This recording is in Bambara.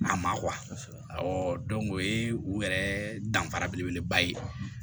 A ma o ye u yɛrɛ danfara beleba ye